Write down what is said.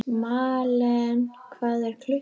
Malen, hvað er klukkan?